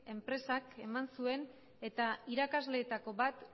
enpresak eman zuen eta irakasleetako bat